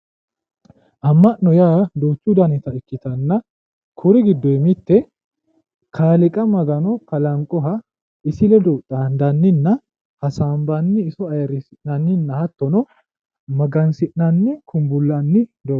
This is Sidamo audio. amma'no yaa duuchu danita ikkitanna kui giddonni mitte kaaliiqa magano kalanqoha isi ledo xaandanninna hasaambanni iso ayiirrisi'nanni hattono magansi'nanni kumbuullanni dogooti.